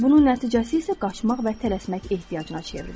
Bunun nəticəsi isə qaçmaq və tələsmək ehtiyacına çevrilir.